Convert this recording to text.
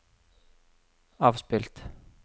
avspilt